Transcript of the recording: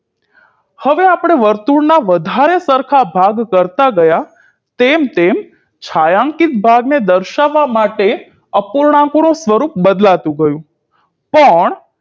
હવે આપણે વર્તુળના વધારે સરખા ભાગ કરતાં ગયા તેમ તેમ છાંયાંકીત ભાગને દર્શાવવા માટે અપૂર્ણાંકનું સ્વરૂપ બદલાતું ગયું પણ